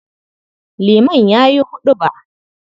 Liman ya yi huɗuba.